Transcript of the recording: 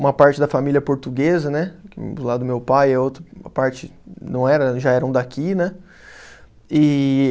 Uma parte da família portuguesa né, do lado do meu pai, a outra parte não era, já eram daqui né. E